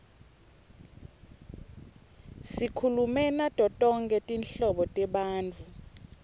sikhulume nato tonkhe tinhlobo tebantfu